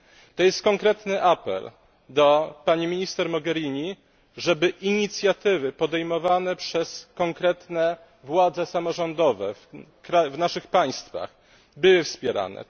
To jest konkretny apel do pani minister Mogherini, żeby inicjatywy podejmowane przez konkretne władze samorządowe w naszych państwach były wspierane.